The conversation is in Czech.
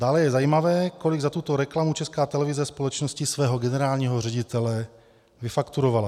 Dále je zajímavé, kolik za tuto reklamu Česká televize společnosti svého generálního ředitele vyfakturovala.